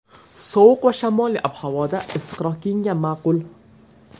Sovuq va shamolli ob-havoda issiqroq kiyingan ma’qul.